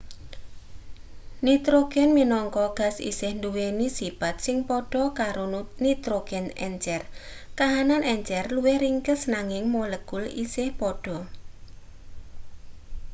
nitrogen minangka gas isih nduweni sipat sing padha karo nitrogen encer kahanan encer luwih ringkes nanging molekul isih padha